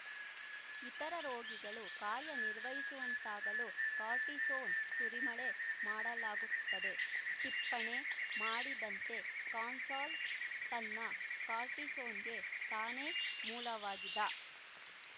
ಇತರ ರೋಗಿಗಳು ಕಾರ್ಯ ನಿರ್ವಹಿಸುವಂತಾಗಲು ಕಾರ್ಟಿಸೋನ್ ಸುರಿಮಳೆ ಮಾಡಲಾಗುತ್ತದೆ ಟಿಪ್ಪಣೆ ಮಾಡಿದಂತೆ ಕಸಾಲ್ಸ್ ತನ್ನ ಕಾರ್ಟಿಸೋನ್‍ಗೆ ತಾನೇ ಮೂಲವಾಗಿದ್ದ